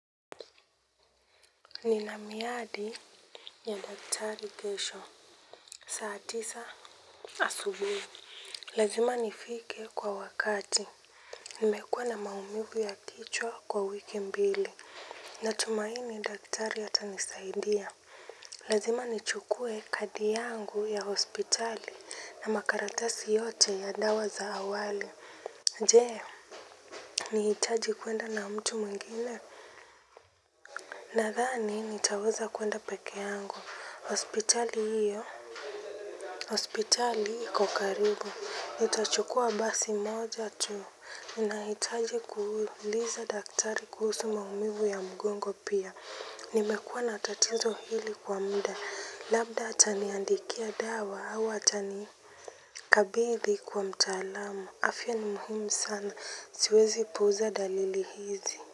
Ni na miadi ya daktari kesho. Saa tisa asubui. Lazima nifike kwa wakati. Nimekuwa na maumivu ya kichwa kwa wiki mbili. Natumaini daktari atanisaidia. Lazima nichukue kadi yangu ya hospitali na makaratasi yote ya dawa za awali. Jee, ni hitaji kuenda na mtu mwingine. Nadhani nitaweza kuenda peke yangu. Hospitali hiyo? Hospitali iko karibu. Nitachukua basi moja tu. Ninahitaji kuuliza daktari kuhusu maumivu ya mgongo pia. Nimekuwa na tatizo hili kwa muda. Labda ataniandikia dawa au atanikabidhi kwa mtaalamu. Afya ni muhumu sana. Siwezi puuza dalili hizi.